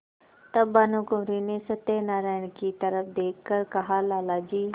तब भानुकुँवरि ने सत्यनारायण की तरफ देख कर कहालाला जी